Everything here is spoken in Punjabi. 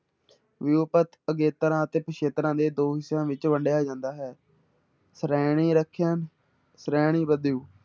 ਵਿਊਪਤ ਅਗੇਤਰਾਂ ਅਤੇ ਪਿੱਛੇਤਰਾਂ ਦੇ ਦੋ ਹਿੱਸਿਆਂ ਵਿੱਚ ਵੰਡਿਆ ਜਾਂਦਾ ਹੈ ਸ਼੍ਰੇਣੀ ਸ਼੍ਰੇਣੀ ਬਦਲੂ